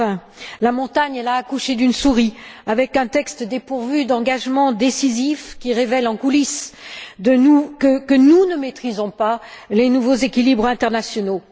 20. La montagne a accouché d'une souris, avec un texte dépourvu d'engagements décisifs, qui révèle en coulisses que nous ne maîtrisons pas les nouveaux équilibres internationaux.